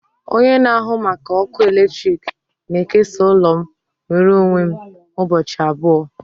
Onye na-ahụ maka ọkụ eletrik na-ekesa ụlọ m nwere onwe m ụbọchị abụọ